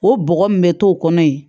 O bɔgɔ min bɛ to kɔnɔ yen